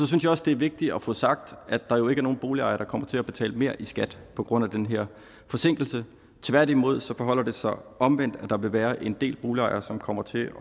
synes også det er vigtigt at få sagt at der jo ikke er nogen boligejere der kommer til at betale mere i skat på grund af den her forsinkelse tværtimod forholder det sig omvendt for der vil være en del boligejere som kommer til at